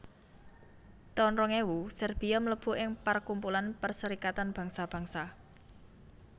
taun rong ewu Serbia mlebu ing parkumpulan Perserikatan Bangsa Bangsa